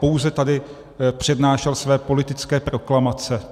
Pouze tady přednášel své politické proklamace.